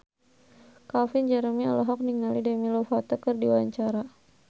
Calvin Jeremy olohok ningali Demi Lovato keur diwawancara